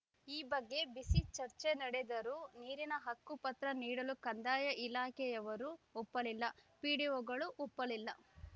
ಈ ಬಗ್ಗೆ ಬಿಸಿ ಚರ್ಚೆ ನಡೆದರೂ ನೀರಿನ ಹಕ್ಕುಪತ್ರ ನೀಡಲು ಕಂದಾಯ ಇಲಾಖೆಯವರೂ ಒಪ್ಪಲಿಲ್ಲ ಪಿಡಿಒಗಳು ಒಪ್ಪಲಿಲ್ಲ